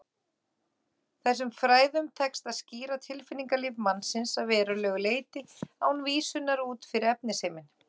Þessum fræðum tekst að skýra tilfinningalíf mannsins að verulegu leyti án vísunar út fyrir efnisheiminn.